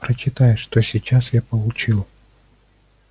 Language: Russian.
прочитай что сейчас я получил